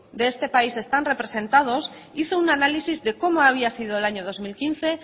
de esta país están representados hizo un análisis de cómo había sido el año dos mil quince